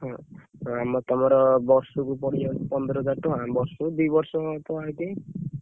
ହଁ, ତମର ବର୍ଷକୁ ପଡ଼ି ଯାଉଛି ପନ୍ଦର ହଜାର ଟଙ୍କା ବର୍ଷକୁ ଦି ବର୍ଷ ତ ITI ।